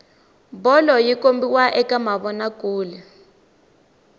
bolo yi kombiwa ka mavona